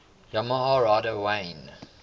yamaha rider wayne